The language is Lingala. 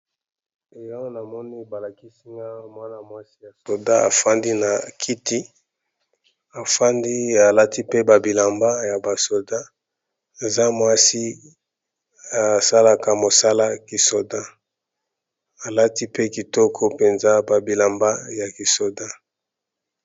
Eh Awa na moni ba lakisi nga mwana-mwasi ya soda afandi na kiti, afandi alati pe ba bilamba ya ba soda eza mwasi asalaka mosala ki soda alati pe kitoko mpenza ba bilamba ya kisoda.